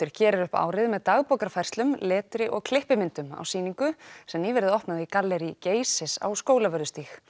gerir upp árið með dagbókarfærslum letri og klippimyndum á sýningu sem nýverið opnaði í galleríi Geysis á Skólavörðustíg